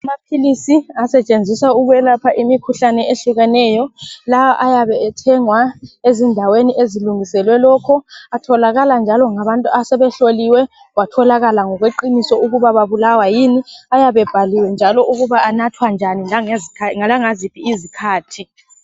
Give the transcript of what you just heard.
Amaphilisi asentshenziswa ukwelapha imikhuhlane ehlukeneyo. Lawa ayabe ethengwa ezindaweni ezilungiselwe lokho atholakala njalo ngabantu asebehloliwe kwatholakala ngokweqiniso ukuba babulawa yini. Ayabe ebhaliwe ukuba anathwa njani langaziphi izikhathi.